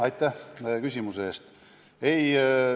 Aitäh küsimuse eest!